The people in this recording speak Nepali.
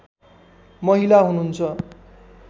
महिला हुनुहुन्छ